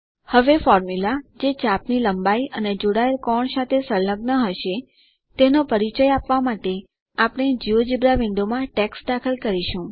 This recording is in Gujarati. હવે ફોર્મ્યુલા જે ચાપ ની લંબાઈ અને જોડાયેલ કોણ સાથે સંલગ્ન હશે તેનો પરિચય આપવા માટે આપણે જિયોજેબ્રા વિન્ડોમાં ટેક્સ્ટ દાખલ કરીશું